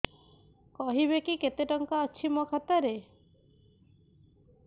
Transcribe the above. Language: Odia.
କହିବେକି କେତେ ଟଙ୍କା ଅଛି ମୋ ଖାତା ରେ